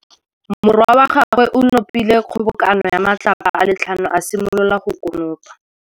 Morwa wa gagwe o nopile kgobokanô ya matlapa a le tlhano, a simolola go konopa.